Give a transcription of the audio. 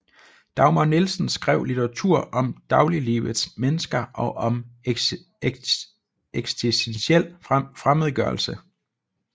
Dagmar Nielsen skrev litteratur om dagliglivets mennesker og om ekstentiel fremmedgørelse